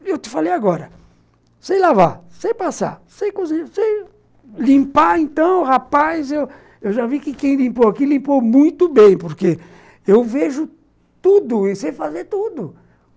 E eu te falei agora, sei lavar, sei passar, sei... limpar, então, rapaz, eu eu já vi que quem limpou aqui limpou muito bem, porque eu vejo tudo e sei fazer tudo.